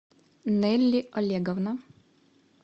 нелли олеговна